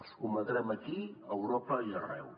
els combatrem aquí a europa i arreu